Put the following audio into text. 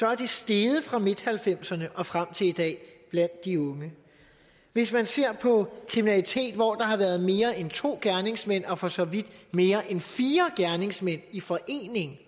er steget fra midt nitten halvfemserne og frem til i dag blandt de unge hvis man ser på kriminalitet hvor der har været mere end to gerningsmænd og for så vidt mere end fire gerningsmænd i forening